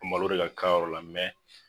Malo de ka k'a yɔrɔ la mɛ